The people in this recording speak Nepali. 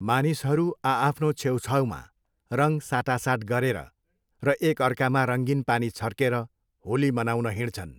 मानिसहरू आ आफ्नो छेउछाउमा रङ साटासाट गरेर र एकअर्कामा रङ्गीन पानी छर्केर होली मनाउन हिँड्छन्।